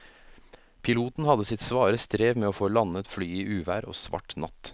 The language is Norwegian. Piloten hadde sitt svare strev med å få landet flyet i uvær og svart natt.